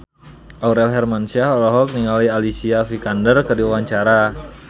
Aurel Hermansyah olohok ningali Alicia Vikander keur diwawancara